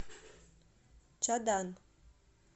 чадан